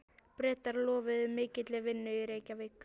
Bretar lofuðu mikilli vinnu í Reykjavík.